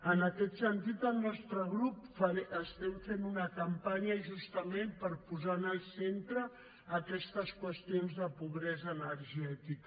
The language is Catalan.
en aquest sentit el nostre grup fem una campanya justament per posar en el centre aquestes qüestions de pobresa energètica